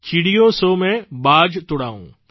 ચિડિયો સોં મૈં બાજ તુડાઉં